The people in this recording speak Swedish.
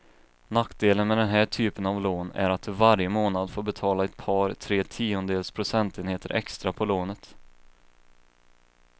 Nackdelen med den här typen av lån är att du varje månad får betala ett par, tre tiondels procentenheter extra på lånet.